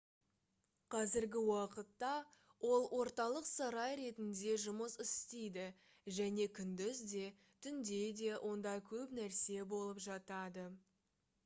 қазіргі уақытта ол орталық сарай ретінде жұмыс істейді және күндіз де түнде де онда көп нәрсе болып жатады